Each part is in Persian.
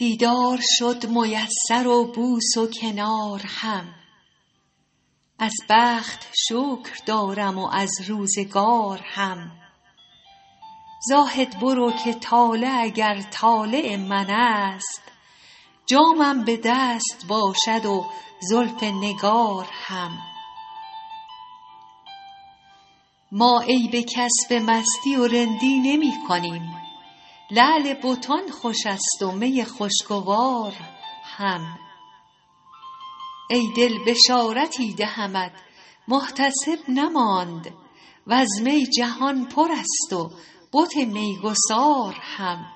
دیدار شد میسر و بوس و کنار هم از بخت شکر دارم و از روزگار هم زاهد برو که طالع اگر طالع من است جامم به دست باشد و زلف نگار هم ما عیب کس به مستی و رندی نمی کنیم لعل بتان خوش است و می خوشگوار هم ای دل بشارتی دهمت محتسب نماند و از می جهان پر است و بت میگسار هم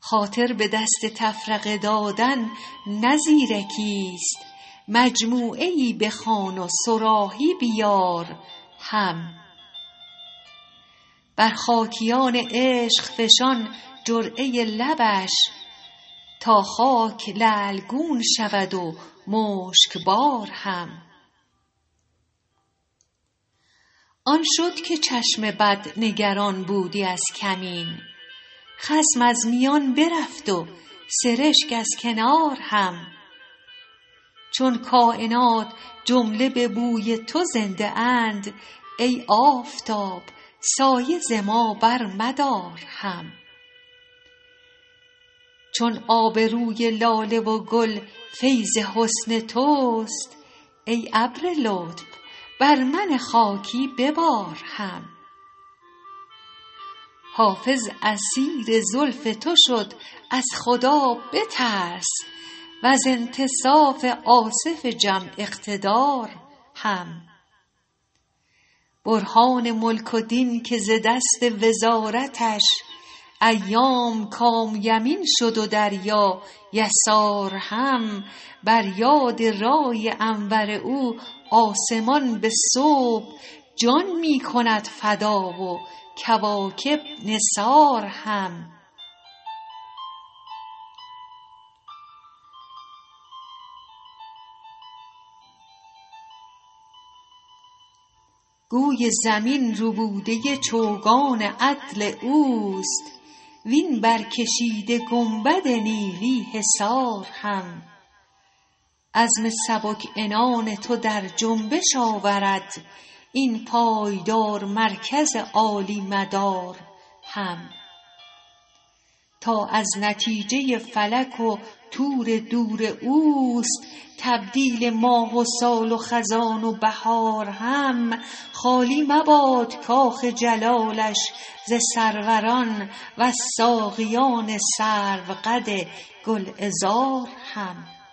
خاطر به دست تفرقه دادن نه زیرکیست مجموعه ای بخواه و صراحی بیار هم بر خاکیان عشق فشان جرعه لبش تا خاک لعل گون شود و مشکبار هم آن شد که چشم بد نگران بودی از کمین خصم از میان برفت و سرشک از کنار هم چون کاینات جمله به بوی تو زنده اند ای آفتاب سایه ز ما برمدار هم چون آب روی لاله و گل فیض حسن توست ای ابر لطف بر من خاکی ببار هم حافظ اسیر زلف تو شد از خدا بترس و از انتصاف آصف جم اقتدار هم برهان ملک و دین که ز دست وزارتش ایام کان یمین شد و دریا یسار هم بر یاد رای انور او آسمان به صبح جان می کند فدا و کواکب نثار هم گوی زمین ربوده چوگان عدل اوست وین برکشیده گنبد نیلی حصار هم عزم سبک عنان تو در جنبش آورد این پایدار مرکز عالی مدار هم تا از نتیجه فلک و طور دور اوست تبدیل ماه و سال و خزان و بهار هم خالی مباد کاخ جلالش ز سروران و از ساقیان سروقد گلعذار هم